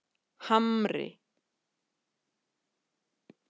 Hamri